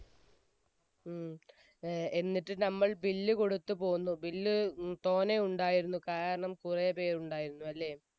ഉം. എന്നിട്ട് നമ്മൾ bill കൊടുത്തു പോന്നു, bill തോനെ ഉണ്ടായിരുന്നു. കാരണം കുറേപ്പേർ ഉണ്ടായിരുന്നു അല്ലേ?